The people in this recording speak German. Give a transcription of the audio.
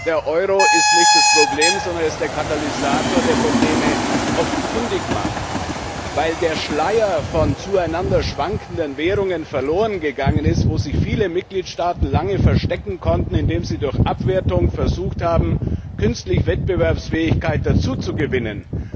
Der Euro ist nicht das Problem, sondern er ist der Katalysator, der Probleme offenkundig macht, weil der Schleier von zueinander schwankenden Währungen verlorengegangen ist, hinter dem sich viele Mitgliedstaaten lange verstecken konnten, indem sie durch Abwertung versucht haben, künstlich Wettbewerbsfähigkeit dazuzugewinnen.